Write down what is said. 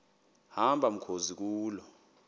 hamba mkhozi kuloo